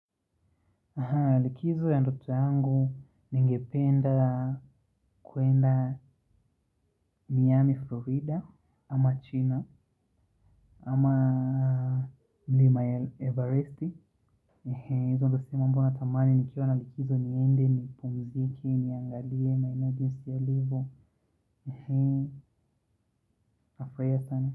Na likizo ya ndoto yangu ningependa kuenda miami florida ama china ama mlima ya everest ndo mambo natamani nikiwa na likizo niende nipumziki niangalie maeneo jinsi yalivo.